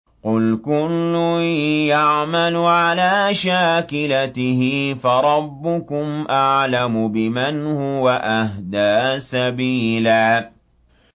قُلْ كُلٌّ يَعْمَلُ عَلَىٰ شَاكِلَتِهِ فَرَبُّكُمْ أَعْلَمُ بِمَنْ هُوَ أَهْدَىٰ سَبِيلًا